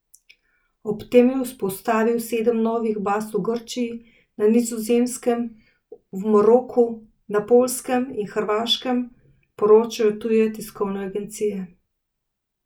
Ob tem je vzpostavil sedem novih baz v Grčiji, na Nizozemskem, v Maroku, na Poljskem in Hrvaškem, poročajo tuje tiskovne agencije.